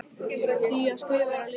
Því að skrifa er að lifa.